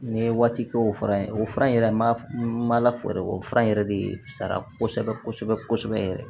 N ye waati kɛ o fura in o fura in yɛrɛ ma lafaa o fura in yɛrɛ de sara kosɛbɛ kosɛbɛ yɛrɛ